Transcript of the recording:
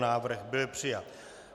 Návrh byl přijat.